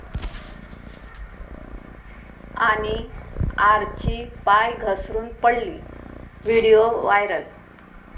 ...आणि आर्ची पाय घसरून पडली?, व्हिडिओ व्हायरल